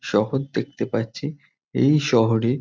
শহর দেখতে পাচ্ছি এই শহরে--